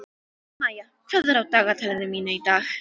Maía, hvað er á dagatalinu mínu í dag?